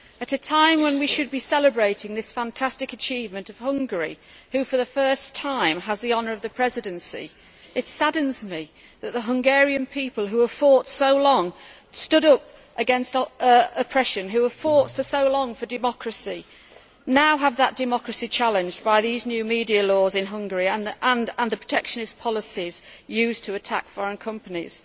a time when we should be celebrating the fantastic achievement of Hungary which, for the first time, has the honour of the Presidency, and it saddens me that the Hungarian people who stood up against oppression and fought for so long for democracy are now having that democracy challenged by the new media laws in Hungary and the protectionist policies used to attack foreign companies,